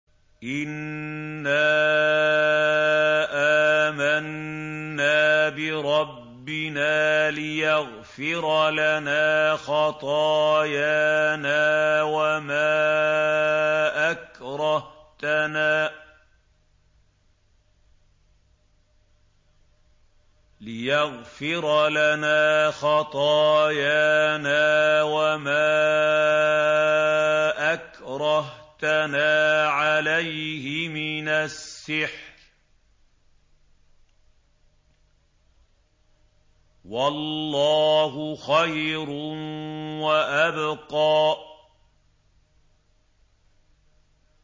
إِنَّا آمَنَّا بِرَبِّنَا لِيَغْفِرَ لَنَا خَطَايَانَا وَمَا أَكْرَهْتَنَا عَلَيْهِ مِنَ السِّحْرِ ۗ وَاللَّهُ خَيْرٌ وَأَبْقَىٰ